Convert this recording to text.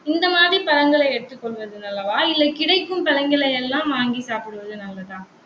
இந்த மாதிரி பழங்களை எடுத்துக்கொள்வது நல்லவா? இல்லை, கிடைக்கும் பழங்களை எல்லாம் வாங்கி சாப்பிடுவது நல்லதா?